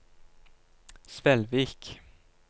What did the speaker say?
Svelvik